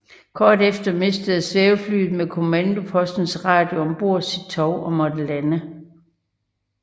Kort efter mistede svæveflyet med kommandopostens radio om bord sit tov og måtte lande